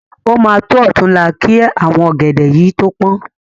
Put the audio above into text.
O ma tọ́ ọ̀túnla ki àwọn ọ̀gẹ̀dẹ̀ yìí tó pọ́n.